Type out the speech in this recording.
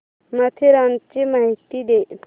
माथेरानची माहिती दे